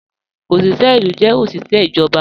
Ọ̀ṣiṣẹ ilu jẹ́ ọ̀ṣiṣẹ ijọba